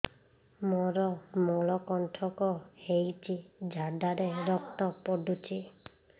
ମୋରୋ ମଳକଣ୍ଟକ ହେଇଚି ଝାଡ଼ାରେ ରକ୍ତ ପଡୁଛି